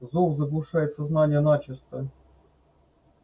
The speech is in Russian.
зов заглушает сознание начисто